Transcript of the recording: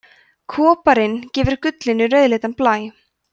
koparinn gefur gullinu rauðleitan blæ